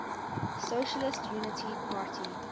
socialist unity party